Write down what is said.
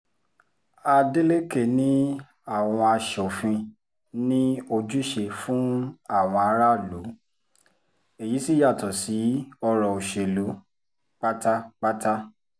adélèkẹ̀ ni àwọn aṣòfin ní ojúṣe fún àwọn aráàlú èyí sì yàtọ̀ sí ọ̀rọ̀ òṣèlú pátápátá